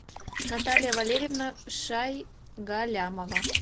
наталья валерьевна шайгалямова